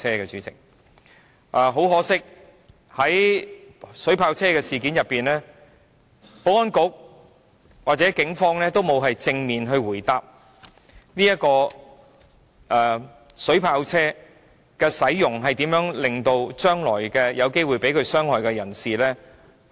可惜的是，在購置水炮車一事上，保安局和警方皆沒有正面答覆有關出動水炮車的情況，以及將來如何保障有機會被水炮車傷害的人士。